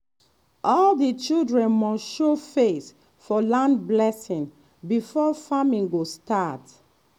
all the children must show face for land blessing before farming go start